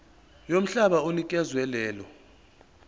yomhlaba onikezwe lelo